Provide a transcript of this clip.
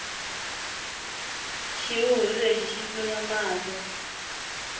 xihuhuri lexi xi tlunya mahlo